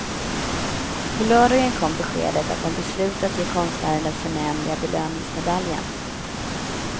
På lördagen kom beskedet att den beslutat ge konstnären den förnämliga belöningsmedaljen.